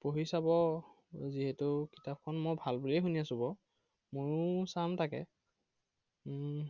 পঢ়ি চাব। যিহেতু কিতাপখন মই ভাল বুলিয়ে শুনি আছো বাৰু। মইও চাম তাকে উম